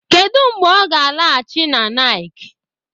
Kedụ mgbe ọ ga-alaghachi n'Ńịké?